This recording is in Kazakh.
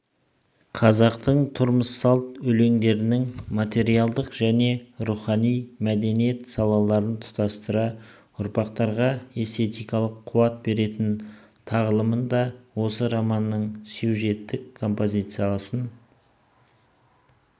қазақтың тұрмысалт өлеңдерінің материалдық және рухани мәдениет салаларын тұтастыра ұрпақтарға эстетикалық қуат беретін тағылымын да осы романның сюжеттік-композициялық